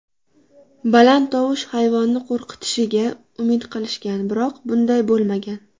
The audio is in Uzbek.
Baland tovush hayvonni qo‘rqitishiga umid qilishgan, biroq bunday bo‘lmagan.